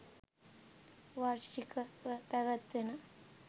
වාර්ෂික ව පැවැත්වෙන